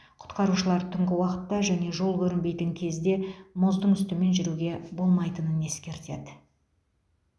құтқарушылар түнгі уақытта және жол көрінбейтін кезде мұздың үстімен жүруге болмайтынын ескертеді